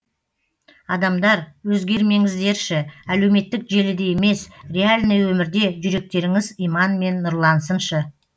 адамдар өзгермеңіздерші әлеуметтік желіде емес реальный өмірде жүректеріңіз иманмен нұрлансыншы